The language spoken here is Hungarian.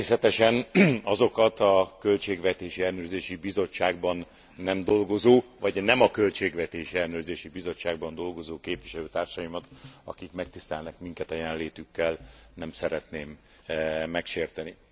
Természetesen azokat a Költségvetési Ellenőrző Bizottságban nem dolgozó, vagy nem a Költségvetési Ellenőrző Bizottságban dolgozó képviselőtársaimat, akik megtisztelnek minket a jelenlétükkel, nem szeretném megsérteni.